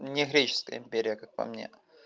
мне греческая империя как по мне